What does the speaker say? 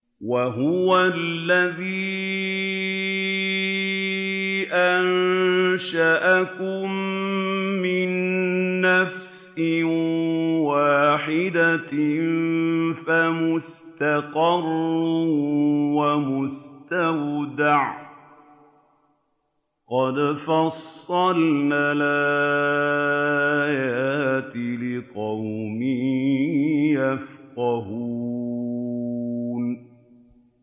وَهُوَ الَّذِي أَنشَأَكُم مِّن نَّفْسٍ وَاحِدَةٍ فَمُسْتَقَرٌّ وَمُسْتَوْدَعٌ ۗ قَدْ فَصَّلْنَا الْآيَاتِ لِقَوْمٍ يَفْقَهُونَ